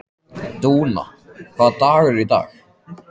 Dúna, hvaða dagur er í dag?